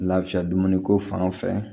Lafiya dumuni ko fan fɛ